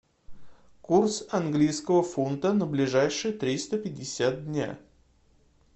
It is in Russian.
курс английского фунта на ближайшие триста пятьдесят дня